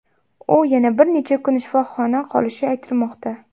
U yana bir necha kun shifoxona qolishi aytilmoqda.